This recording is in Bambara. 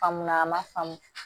Faamu na a man faamu